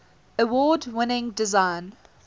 award winning design